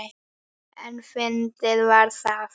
En fyndið var það.